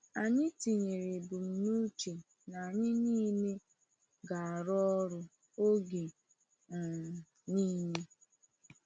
Anyị tinyere ebumnuche na anyị niile ga-arụ ọrụ ọrụ oge um niile.